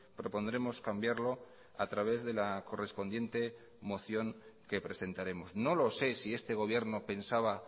propondremos cambiarlo a través de la correspondiente moción que presentaremos no lo sé si este gobierno pensaba